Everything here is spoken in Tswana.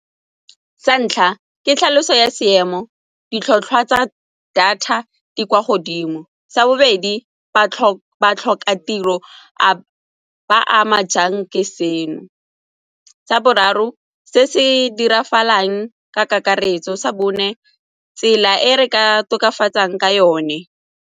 Sa ntlha, ke tlhaloso ya seemo, ditlhotlhwa tsa data di kwa godimo. Sa bobedi, batlhokatiro ba a ama jang ke seno. Sa boraro, se se diragalang ka kakaretso. Sa bone, tsela e re ka tokafatsang ka yone.